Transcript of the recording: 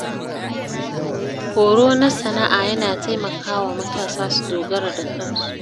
Horo na sana’a yana taimakawa matasa su dogara da kansu.